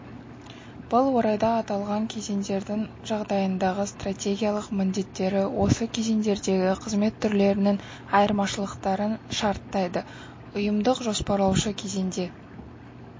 бұл орайда аталған кезеңдердің жағдайындағы стратегиялық міндеттері осы кезеңдердегі қызмет түрлерінің айырмашылықтарын шарттайдыі ұйымдық-жоспарлаушы кезеңде